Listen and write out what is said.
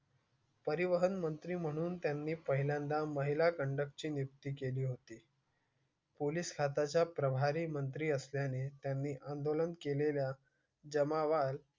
परिवहन मंत्री म्हणून त्यांनी पहिल्यांदा महिला conduct ची नियुक्ती केली होती. पोलीस खात्याच्या प्रभारी मंत्री असल्याने त्यांनी आंदोलन केलेल्या जमावा